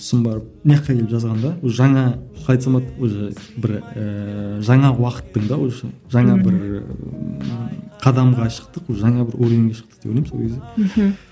сосын барып келіп жазғанда уже жаңа қалай айтсам болады уже бір ііі жаңа уақыттың да уже жаңа бір ііі қадамға шықтық жаңа бір уровенге шықтық деп ойлаймын сол кезде мхм